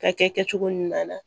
Ka kɛ kɛcogo ɲuman na